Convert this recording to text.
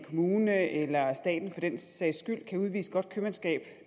kommune eller staten for den sags skyld kan udvise godt købmandskab